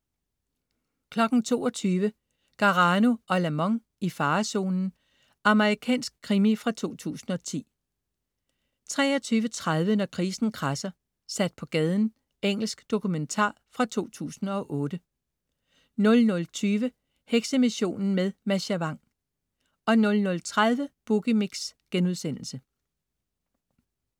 22.00 Garano & Lamont: I farezonen. Amerikansk krimi fra 2010 23.30 Når krisen kradser. Sat på gaden. Engelsk dokumentar fra 2008 00.20 Heksemissionen med Mascha Vang 00.30 Boogie Mix*